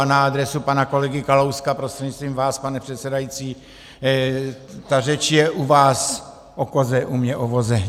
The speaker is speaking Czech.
A na adresu pana kolegy Kalouska prostřednictvím vás, pane předsedající, ta řeč je u vás o koze, u mě o voze.